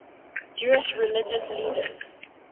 jewish religious leaders